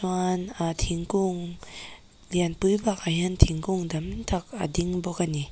aa thingkung lianpui bakah hian thingkung tam tak a ding a ni.